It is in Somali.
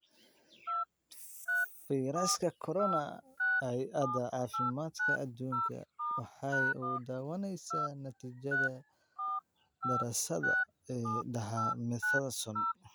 Fayraska Corona: hey adaa cafimadka adunka waxay soo dhawaynaysaa natiijada daraasadda Dexamethasone